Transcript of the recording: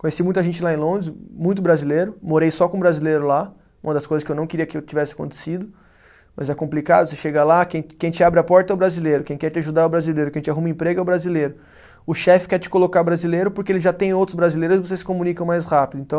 Conheci muita gente lá em Londres, muito brasileiro, morei só com brasileiro lá, uma das coisas que eu não queria que eu tivesse acontecido, mas é complicado, você chega lá, quem quem te abre a porta é o brasileiro, quem quer te ajudar é o brasileiro, quem te arruma emprego é o brasileiro, o chefe quer te colocar brasileiro porque ele já tem outros brasileiros e vocês se comunicam mais rápido, então...